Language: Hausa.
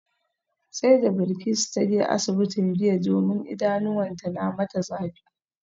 Sai da Bilkisu ta je asibitin jiya domin idanuwanta na mata zafi